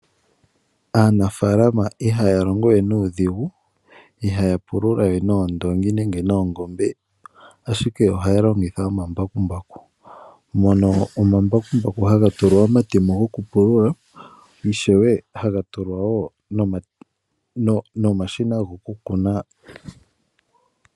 Aanafaalama, iha ya longo we nuudhigu, iha ya pulula we noondoongi nenge noongombe, ashike oha ya longitha omambakumbaku, mono omambakumbaku ha ga tulwa omatemo go ku pulula, ishewe oha ga tulwa omashina go ku nuna.